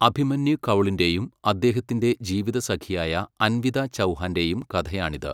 അഭിമന്യു കൗളിൻ്റെയും അദ്ദേഹത്തിൻ്റെ ജീവിതസഖിയായ അൻവിത ചൗഹാൻ്റെയും കഥയാണിത്.